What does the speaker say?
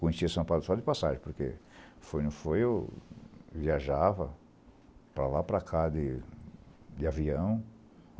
Conhecia São Paulo só de passagem, porque fui fui, eu viajava para lá e para cá de de avião.